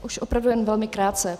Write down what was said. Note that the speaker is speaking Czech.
Už opravdu jen velmi krátce.